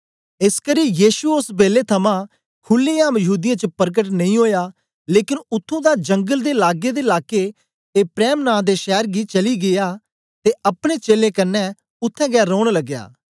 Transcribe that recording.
एसकरी यीशु ओस बेलै थमां खुलेआम यहूदीयें च परकट नेई ओया लेकन उत्त्थुं दा जंगल दे लागे दे लाके एप्रैम नां दे शैर गी चली गीया ते अपने चेलें कन्ने उत्थें गै रौन लगया